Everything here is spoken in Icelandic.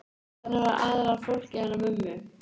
Þarna var aðallega fólkið hennar mömmu.